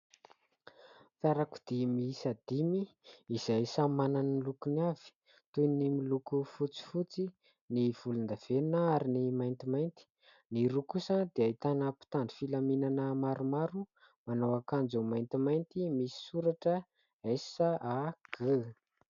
Fiarakodia miisa dimy izay samy manana ny lokony avy, toy ny miloko fotsifotsy, ny volondavenona ary ny maintimainty. Ny roa kosa dia ahitana mpitandro filaminanana maromaro manao akanjo maintimainty misy soratra "S", "A", "G".